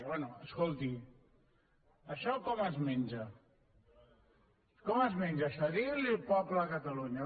bé escolti això com es menja com es menja això diguin li ho al poble de catalunya